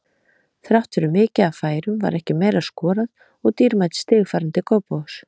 Þrátt fyrir mikið af færum var ekki meira skorað og dýrmæt stig farin til Kópavogs.